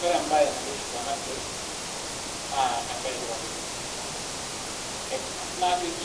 Ore mbae naitiship tenaa siai naa mbae etipat oleng ekengas najoki